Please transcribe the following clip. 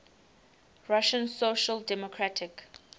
russian social democratic